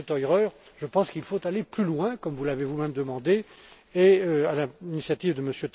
Mais, Monsieur Theurer, je pense qu'il faut aller plus loin, comme vous l'avez vous même demandé et, à l'initiative de